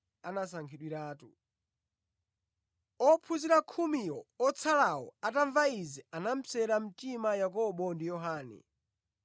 Ophunzira khumiwo otsalawo atamva izi anapsera mtima Yakobo ndi Yohane.